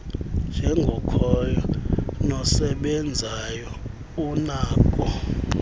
njengokhoyo nosebenzayo unako